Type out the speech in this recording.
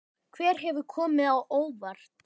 Hver hefur komið á óvart?